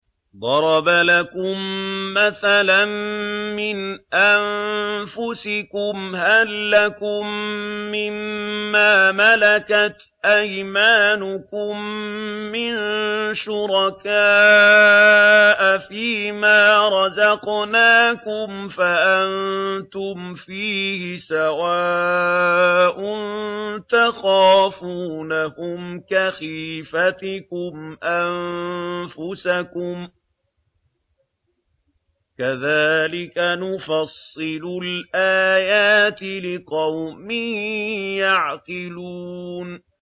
ضَرَبَ لَكُم مَّثَلًا مِّنْ أَنفُسِكُمْ ۖ هَل لَّكُم مِّن مَّا مَلَكَتْ أَيْمَانُكُم مِّن شُرَكَاءَ فِي مَا رَزَقْنَاكُمْ فَأَنتُمْ فِيهِ سَوَاءٌ تَخَافُونَهُمْ كَخِيفَتِكُمْ أَنفُسَكُمْ ۚ كَذَٰلِكَ نُفَصِّلُ الْآيَاتِ لِقَوْمٍ يَعْقِلُونَ